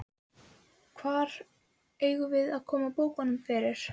Hvar eigum við að koma bókunum fyrir?